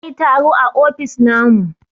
za a yi taro a ofis namu